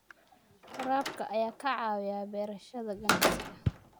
Waraabka ayaa ka caawiya beerashada ganacsiga.